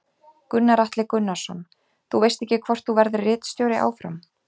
Gunnar Atli Gunnarsson: Þú veist ekki hvort þú verðir ritstjóri áfram?